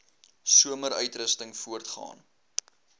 somer uitrusting voortgaan